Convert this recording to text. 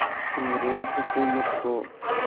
अंग्रेज़ हुकूमत को